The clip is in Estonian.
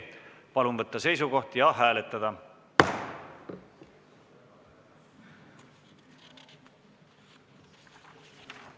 Palun võtta seisukoht ja hääletada!